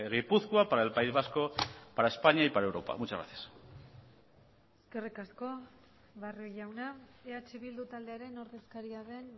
gipuzkoa para el país vasco para españa y para europa muchas gracias eskerrik asko barrio jauna eh bildu taldearen ordezkaria den